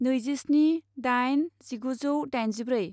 नैजिस्नि दाइन जिगुजौ दाइनजिब्रै